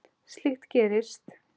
Slíkt gerist.